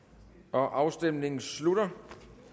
afstemningen slutter